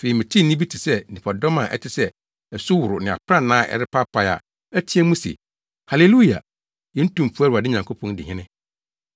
Afei metee nne bi te sɛ nnipadɔm a ɛte sɛ asuworo ne aprannaa a ɛrepaapae a ɛteɛ mu se, “Haleluya! Yɛn Tumfo Awurade Nyankopɔn di hene.